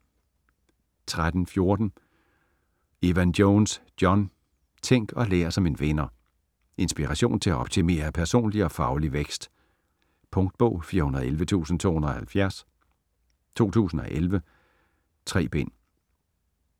13.14 Evan-Jones, John: Tænk og lær som en vinder Inspiration til at optimere personlig og faglig vækst. Punktbog 411270 2011. 3 bind.